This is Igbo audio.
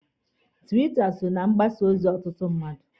Tiwita so na mgbasa ozi ọtụtụ mmadụ.